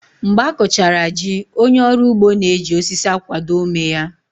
Mgbe a kụchara jí, onye ọrụ ugbo na-eji osisi akwado ómé ya